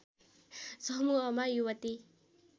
समूहमा युवती